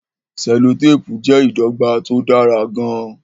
selotepu jẹ́ ìdọ́gba tó dára gan-an.